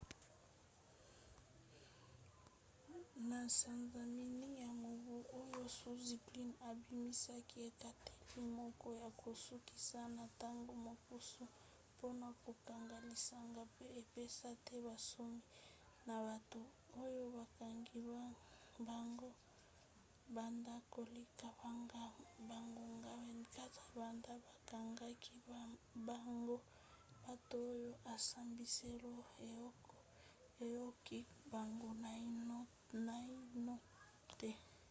na sanza ya minei ya mobu oyo zuzi glynn abimisaki ekateli moko ya kosukisa na ntango mokuse mpona kokanga lisanga po epesa te bonsomi na bato oyo bakangi bango banda koleka bangonga 24 banda bakangaki bango bato oyo esambiselo eyoki bango naino te